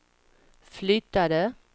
flyttade